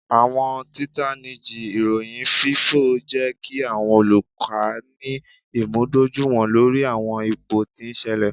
Awọn titaniji iroyin fifọ jẹ ki awọn oluka ni imudojuiwọn lori awọn ipo ti n ṣẹlẹ.